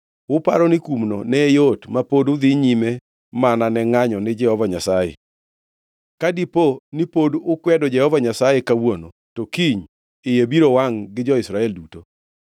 Uparo ni kumno ne yot ma pod udhi nyime mana ne ngʼanyo ni Jehova Nyasaye? “ ‘Ka dipo ni pod ukwedo Jehova Nyasaye kawuono, to kiny iye biro wangʼ gi jo-Israel duto.